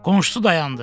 Qonşusu dayandı.